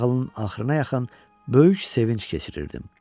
Nağılın axırına yaxın böyük sevinc keçirirdim.